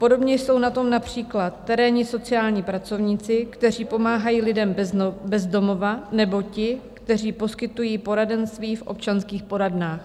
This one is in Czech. Podobně jsou na tom například terénní sociální pracovníci, kteří pomáhají lidem bez domova, nebo ti, kteří poskytují poradenství v občanských poradnách.